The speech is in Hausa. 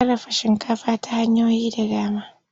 Ana sarrafa shinkafi ta hanyoyi da dama.